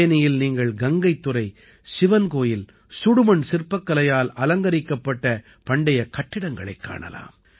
திரிபேனியில் நீங்கள் கங்கைத் துறை சிவன் கோயில் சுடுமண் சிற்பக்கலையால் அலங்கரிக்கப்பட்ட பண்டைய கட்டிடங்களைக் காணலாம்